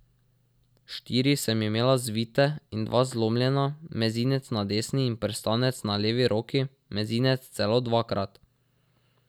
Štiri sem imela zvite in dva zlomljena, mezinec na desni in prstanec na levi roki, mezinec celo dvakrat.